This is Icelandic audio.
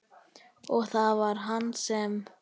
Og var það hann sem.?